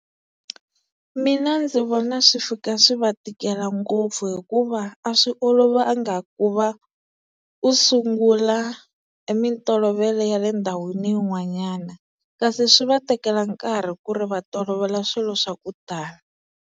Mina ndzi vona swi fika swi va tikela ngopfu hikuva a swi olovanga ku va u sungula e mintolovelo ya le ndhawini yin'wanyana kasi swi va tekela nkarhi ku ri va tolovela swilo swa ku tala.